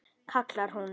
kallar hún.